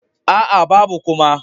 Aa, babu kuma.